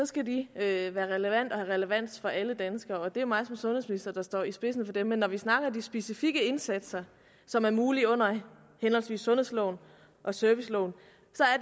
skal de have relevans relevans for alle danskere og det er mig der som sundhedsminister står i spidsen for det men når vi snakker om de specifikke indsatser som er mulige under henholdsvis sundhedsloven og serviceloven